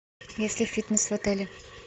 есть ли фитнес в отеле